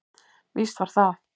Víst var það.